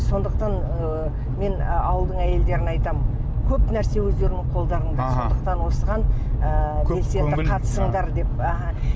сондықтан ы мен ауылдың әйелдеріне айтамын көп нәрсе өздеріңнің қолдарыңда деп сондықтан осыған ыыы белсене қатысыңдар деп аха